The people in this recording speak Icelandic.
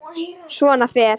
Svona fer.